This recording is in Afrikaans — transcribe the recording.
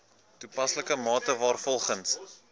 toepaslike mate waarvolgens